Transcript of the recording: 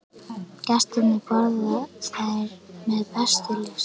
Gestirnir borða þær með bestu lyst.